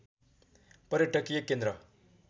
पर्यटकीय केन्द्र